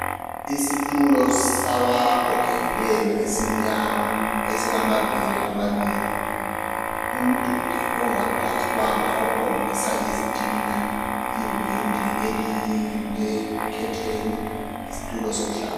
Isitulo sabagogekileyo esimnyama esilamaviri amabili umduli ongaplastwanga okhombisa izitina iwindi elilekhetheni isitulo sokuhlala.